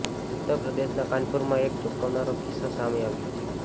ઉત્તર પ્રદેશના કાનપુરમાં એક ચોંકાવનારો કિસ્સો સામે આવ્યો છે